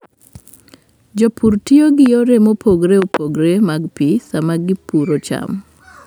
Jopur tiyo gi yore mopogore opogore mag pi sama gipidho cham.